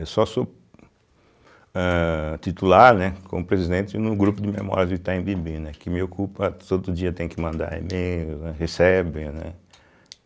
Eu só sou âh titular, né como presidente, no grupo de memórias do Itaim Bibi, né, que me ocupa, todo dia tem que mandar e-mail, é, recebe, né.